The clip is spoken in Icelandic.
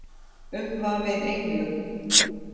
Umvafin englum.